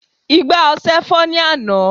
igbá ọsẹ fọ́ ní àná